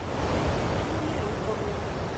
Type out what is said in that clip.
дрюне рыкову